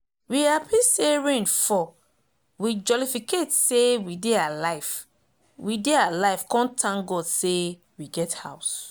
we happy say rain fall we jolificate say we dey alive we dey alive con thank god say we get house